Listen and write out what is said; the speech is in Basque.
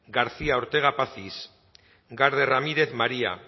garcia ortega pazis garde ramirez maria